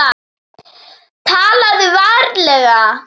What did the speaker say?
TALAÐU VARLEGA